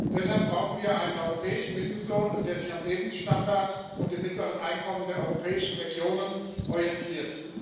Deshalb brauchen wir einen europäischen Mindestlohn, der sich am Lebensstandard und an den mittleren Einkommen der europäischen Regionen orientiert.